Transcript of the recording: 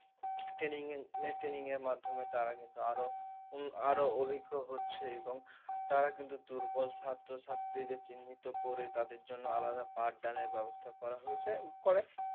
Training, training এর মাধ্যমে তারা কিন্তু আরও আরো অভিজ্ঞ হচ্ছে এবং তারা কিন্তু দুর্বল ছাত্র ছাত্রীদের চিহ্নিত করে তাদের জন্য আলাদা part done এর ব্যবস্থা করা হয়েছে। করে